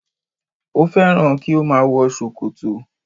Ó fẹ́ràn kí ó má a wọ sòkòtò